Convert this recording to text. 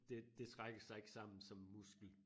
Det det trækker sig ikke sammen som en muskel